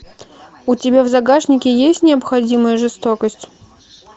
у тебя в загашнике есть необходимая жестокость